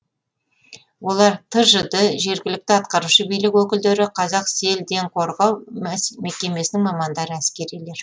олар тжд жергілікті атқарушы билік өкілдері қазақселденқорғау мекемесінің мамандары әскерилер